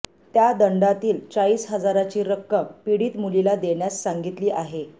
त्या दंडातील चाळीस हजारांची रक्कम पीडित मुलीला देण्यास सांगितली आहे